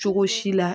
Cogo si la